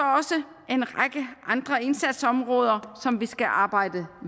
også en række andre indsatsområder som vi skal arbejde